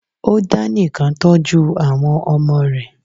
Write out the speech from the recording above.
Ó dá nìkan tọ́jú àwọn ọmọ rẹ̀